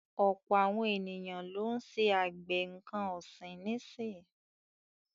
Ọ̀pọ̀ àwọn ènìyàn lọ́ ń ṣe àgbẹ̀ nǹkan ọ̀sìn nísì.